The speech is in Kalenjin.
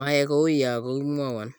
mayai kou ya kokimwowon